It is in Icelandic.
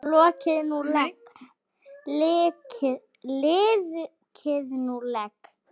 Liðkið nú legg!